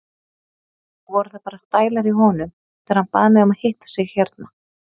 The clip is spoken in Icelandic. Voru það bara stælar í honum þegar hann bað mig að hitta sig hérna?